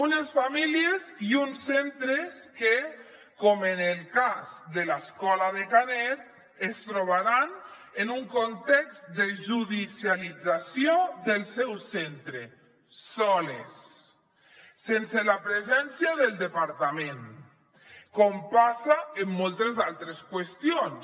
unes famílies i uns centres que com en el cas de l’escola de canet es trobaran en un context de judicialització del seu centre soles sense la presència del departament com passa en moltes altres qüestions